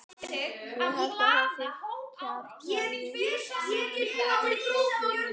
Ég held að það sé kjaftæði að hann hafi brotið á honum.